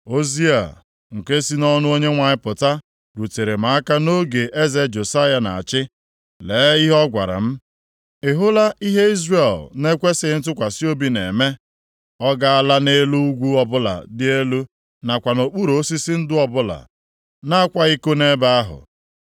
Ozi a, nke si nʼọnụ Onyenwe anyị pụta, rutere m aka nʼoge eze Josaya na-achị. Lee ihe ọ gwara m. “Ị hụla ihe Izrel na-ekwesighị ntụkwasị obi na-eme? Ọ gaala nʼelu ugwu ọbụla dị elu nakwa nʼokpuru osisi ndụ ọbụla, na-akwa iko nʼebe ahụ.